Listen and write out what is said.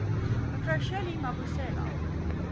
me shirley mabusela